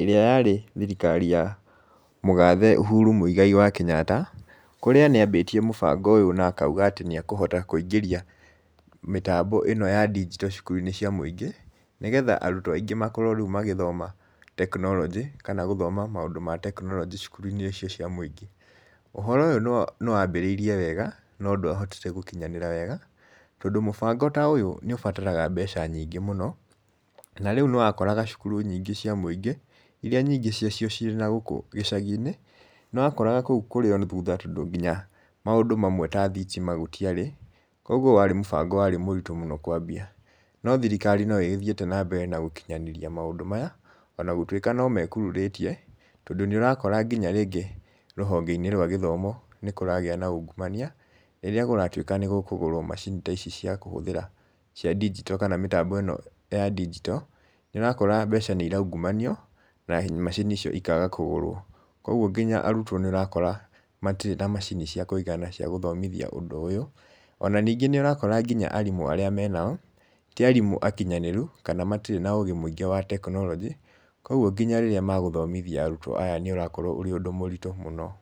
ĩrĩa yarĩ thirikari ya mũgathe Uhuru Mũigai wa Kenyatta. Kũrĩa nĩ ambĩtie mũbango ũyũ na akauga atĩ nĩ akũhota kũingĩria mĩtambo ĩno ya ndigito cukuru-inĩ cia mũingĩ. Nĩgetha arutwo aingĩ rĩu makorwo magĩthoma tekinoronjĩ, kana gũthoma maũndũ ma tekinoronjĩ cukuru-inĩ icio cia mũingĩ. Uhoro ũyũ nĩ wambĩrĩire wega, no ndwahotire gũkinyanĩra wega. tondũ mũbango ta ũyũ nĩ ũbataraga mbeca nyingĩ mũno. Na rĩu nĩ wakoraga cukuru nyingĩ cia mũingĩ, iria nyingĩ cia cio cirĩ na gũkũ gĩcagi-inĩ, nĩ wakoraga kũu kũrĩ o thutha tondũ nginya maũndũ mamwe ta thitima gũtiarĩ. Kogwo warĩ mũbango warĩ mũrito mũno kwambia. No thirikari no ĩgithiĩte na mbere na gũkinyanĩria maũndũ maya, ona gũtuĩka no mekururĩtie, tondũ nĩ ũrakora nginya rĩngĩ rũhonge-inĩ rwa gĩthomo nĩ kũragĩa na ungumania, rĩrĩa kũratwĩka nĩ gũkũgũrwo macini ta icia cia kũhũthĩra, cia ndigito kana mĩtambo ĩno ya ndigito, nĩ ũrakora mbeca nĩ iraungumanio, na macini icio ikaga kũgũrwo. Kogwo nginya arutwo nĩ ũrakora matirĩ na macini cia kũigana cia gũthomithia ũndũ ũyũ. Ona ningĩ nĩ ũrakora nginya arimũ arĩa menao, ti arimũ akinyanĩru, kana matirĩ na ũge mũingĩ wa tekinorinjĩ. Koguo nginya rĩrĩa magũthomithia arutwo aya nĩ ũrakorwo ũrĩ ũndũ mũritũ mũno.